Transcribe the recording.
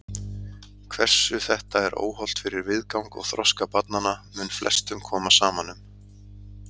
Hversu þetta er óhollt fyrir viðgang og þroska barnanna mun flestum koma saman um.